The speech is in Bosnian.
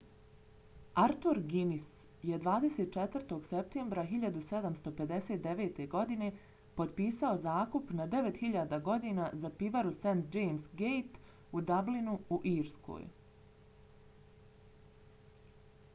arthur guinness je 24. septembra 1759. godine potpisao zakup na 9.000 godina za pivaru st james‘ gate u dublinu u irskoj